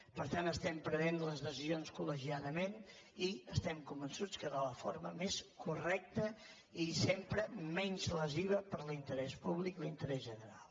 per tant prenem les decisions col·legiadament i es·tem convençuts que de la forma més correcta i sempre menys lesiva per a l’interès públic l’interès general